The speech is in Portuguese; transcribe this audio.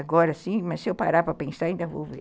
Agora, sim, mas se eu parar para pensar, ainda vou ver.